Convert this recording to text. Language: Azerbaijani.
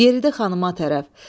Yeridi xanıma tərəf.